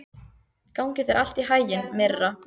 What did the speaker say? Gangi þér allt í haginn, Myrra.